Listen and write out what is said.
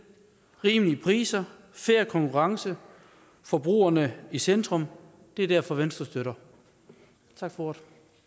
rimelige priser fair konkurrence forbrugerne i centrum det er derfor venstre støtter tak for